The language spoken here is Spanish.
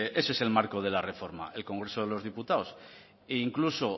ese es el marco de la reforma el congreso de los diputados e incluso